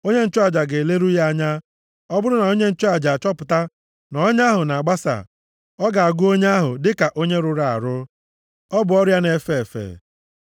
Onye nchụaja ga-eleru ya anya, ọ bụrụ na onye nchụaja achọpụta na ọnya ahụ na-agbasa, ọ ga-agụ onye ahụ dịka onye rụrụ arụ, ọ bụ ọrịa na-efe efe.